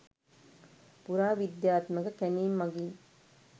පුරාවිද්‍යාත්මක කැණීම් මගින්